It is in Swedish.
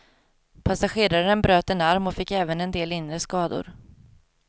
Passageraren bröt en arm och fick även en del inre skador.